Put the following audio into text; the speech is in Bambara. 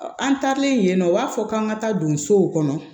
An taalen yen nɔ u b'a fɔ k'an ka taa donsow kɔnɔ